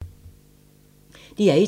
DR1